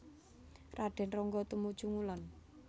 Raden Ronggo tumuju ngulon